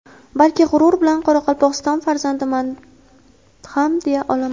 balki g‘urur bilan Qoraqalpog‘iston farzandiman ham deya olaman.